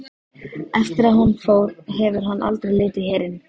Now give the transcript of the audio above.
Eftir að hún fór hefur hann aldrei litið hér inn.